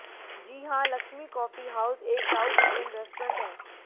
जी हां Lakshmi coffee house एक south Indian restaurant है